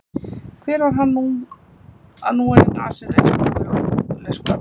Hver var hann að núa henni því um nasir eins og það væri ógurleg skömm?